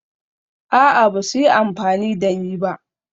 A'a, ba su yi amfani da ni ba